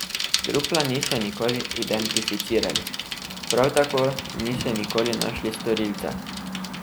Trupla niso nikoli identificirali, prav tako niso nikoli našli storilca.